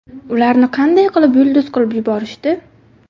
Ularni qanday qilib yulduz qilib yuborishdi?.